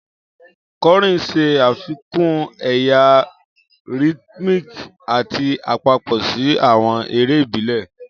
Kọrin ṣe afikun ẹya rhythmic ati apapọ si awọn ere ibile.